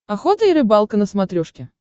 охота и рыбалка на смотрешке